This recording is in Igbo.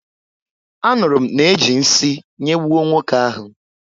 Anụrụ m na-eji nsị nyegbuo nwoke ahụ.